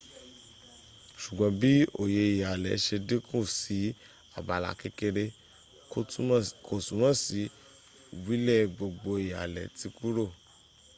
sugbon bi oye ihale se dinku si abala kekere ko tumo si wile gbogbo ihale ti kuro